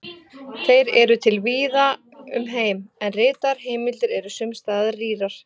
Þeir eru til víða um heim, en ritaðar heimildir eru sums staðar rýrar.